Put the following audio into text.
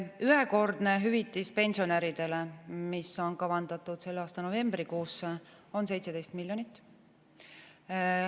Ühekordne hüvitis pensionäridele, mis on kavandatud selle aasta novembrikuusse, on 17 miljonit.